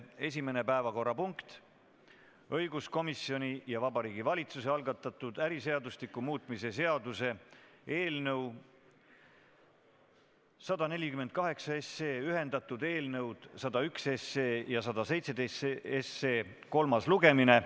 Esimene päevakorrapunkt on õiguskomisjoni ja Vabariigi Valitsuse algatatud äriseadustiku muutmise seaduse eelnõu kolmas lugemine.